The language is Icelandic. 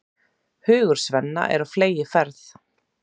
Hugur Svenna er á fleygiferð.